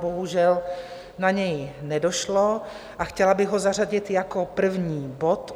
Bohužel na něj nedošlo a chtěla bych ho zařadit jako první bod.